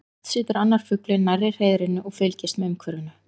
Oft situr annar fuglinn nærri hreiðrinu og fylgist með umhverfinu.